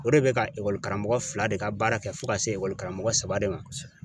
O de be ka ekɔli karamɔgɔ fila de ka baara kɛ, fo ka se ekɔli karamɔgɔ saba de ma